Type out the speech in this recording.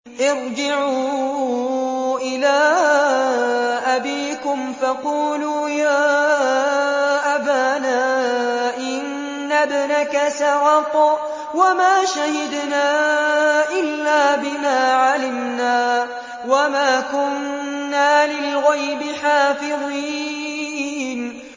ارْجِعُوا إِلَىٰ أَبِيكُمْ فَقُولُوا يَا أَبَانَا إِنَّ ابْنَكَ سَرَقَ وَمَا شَهِدْنَا إِلَّا بِمَا عَلِمْنَا وَمَا كُنَّا لِلْغَيْبِ حَافِظِينَ